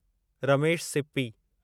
Ramesh Sippy